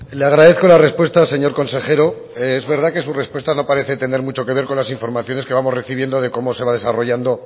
le agradezco la respuesta señor consejero es verdad que su respuesta no parece tener mucho que ver con las informaciones que vamos recibiendo de cómo se va desarrollando